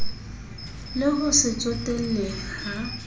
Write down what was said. le ho se tsotelle ha